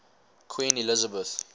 queen elizabeth